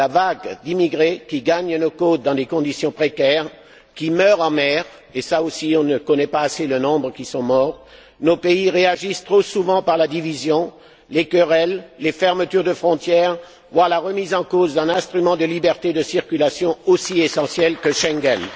À la vague d'immigrés qui gagnent nos côtes dans des conditions précaires, qui meurent en mer et là aussi, on ne connaît pas assez le nombre de morts nos pays réagissent trop souvent par la division, les querelles, les fermetures de frontières, voire à la remise en cause d'un instrument de liberté de circulation aussi essentiel que Schengen.